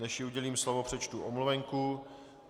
Než jí udělím slovo, přečtu omluvenku.